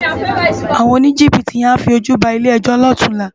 Awòn ónijibiti yèn á fi ójú bá ilé èjò lòtúnlá